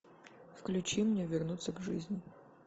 включи мне вернуться к жизни